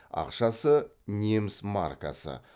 ақшасы неміс маркасы